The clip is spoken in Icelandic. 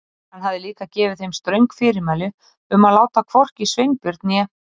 Hann hafði líka gefið þeim ströng fyrirmæli um að láta hvorki Sveinbjörn né